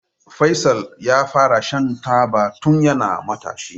Faisal yafara shan taba tun yana matashi.